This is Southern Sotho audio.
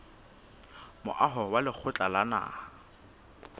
moaho wa lekgotla la naha